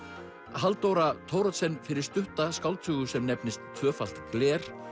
Halldóra Thoroddsen fyrir stutta skáldsögu sem nefnist tvöfalt gler